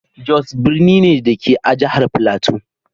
Jos birni ne, da ke a jihar Filato.